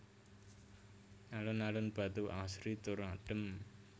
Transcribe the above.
Alun alun Batu asri tur adem